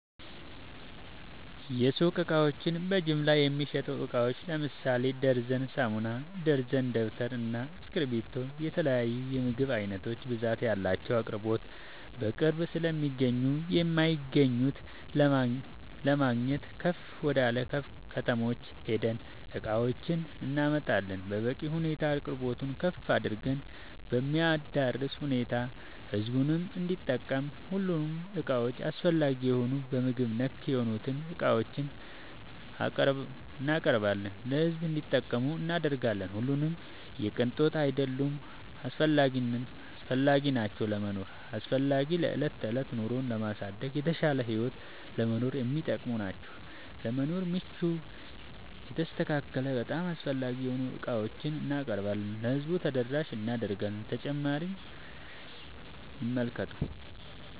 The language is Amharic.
የሱቅ እቃዎች በጅምላ የሚሸጡ እቃዎች ለምሳሌ ደርዘን ሳሙና፣ ደርዘን ደብተር እና እስኪብርቶ የተለያዬ የምግብ አይነቶች ብዛት ያላቸው አቅርቦት በቅርብ ስለማይገኙ የማይገኙት ለማግኘት ከፍ ወደላ ከተሞች ሄደን እቃዎችን እናመጣለን በበቂ ሁኔታ አቅርቦቱን ከፍ አድርገን በሚያዳርስ ሁኔታ ህዝቡም እንዲጠቀም ሁሉንም እቃዎች አስፈላጊ የሆኑ በምግብ ነክ የሆኑትን እቃዎችን እናቀርባለን ለሕዝብ እንዲጠቀሙ እናደርጋለን። ሁሉም የቅንጦት አይደሉም አስፈላጊናቸው ለመኖር አስፈላጊ ለዕለት ተዕለት ኑሮን ለማሳደግ የተሻለ ህይወት ለመኖር የሚጠቅሙ ናቸው። ለመኖር ምቹ የተስተካከለ በጣም አስፈላጊ የሆኑ ዕቃዎችን እናቀርባለን ለህዝቡ ተደራሽ እናደርጋለን።…ተጨማሪ ይመልከቱ